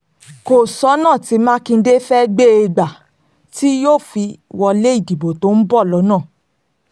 kò sọ́nà tí mákindé fẹ́ẹ́ gbé e gbà tí yóò fi wọlé ìdìbò tó ń bọ̀